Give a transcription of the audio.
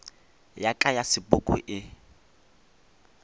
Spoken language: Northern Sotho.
ya ka ya sepoko e